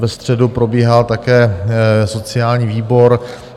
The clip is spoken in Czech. Ve středu probíhal také sociální výbor.